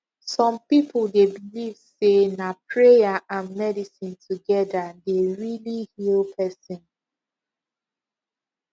some people dey believe say na prayer and medicine together dey really heal person